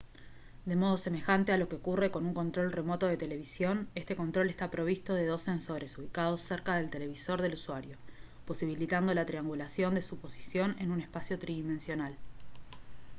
de modo semejante a lo que ocurre con un control remoto de televisión este control está provisto de dos sensores ubicados cerca del televisor del usuario posibilitando la triangulación de su posición en un espacio tridimensional